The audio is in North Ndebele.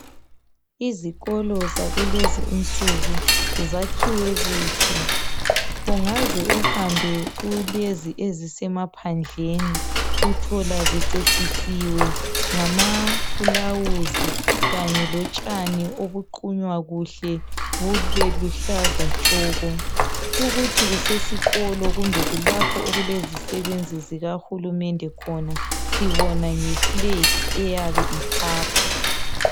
Izikolo zakulezinsuku zakhiwe kuhle ungaze uhambe kulezi ezisemaphandleni uthola zicecisiwe ngamafulawuzi kanye lotshani obuqunywa kuhle bubeluhlaza tshoko ukuthi kusesikolo kumbe kulapho okukezisebenzi zikahulumende khona sibona nge Flag eyabe iphapha